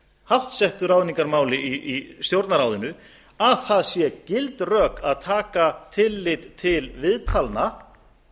háttsettu ráðningarmáli í stjórnarráðinu að það séu gild rök að taka tillit til viðtala